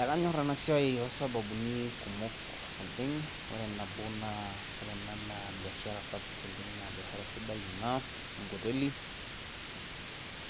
Ekanyorr ena siai too sababuni kumok oleng', ore nabo naa biashara[cs[sapuk oleng naa biashara sidai eena enkoteli,